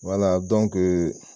Wala